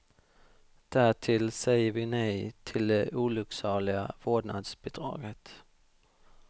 Därtill säger vi nej till det olycksaliga vårdnadsbidraget.